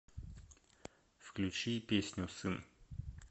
включи песню сын